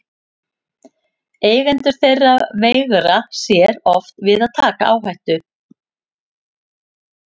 Eigendur þeirra veigra sér oft við að taka áhættu.